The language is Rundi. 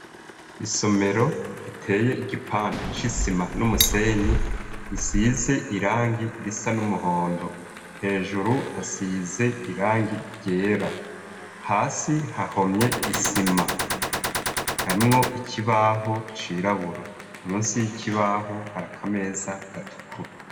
Isomero riteye igipande c'isima n'umusenyi, isize irangi risa n'umuhondo, hejuru hasize irangi ryera, hasi hahomye isima, harimwo ikibaho cirabura, musi y'ikibaho hari akameza gatukura.